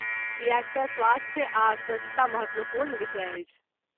किएक तँ स्वास्थ्य आ स्वच्छता महत्वपूर्ण विषय अछि।